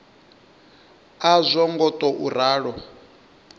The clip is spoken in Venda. a zwo ngo tou ralo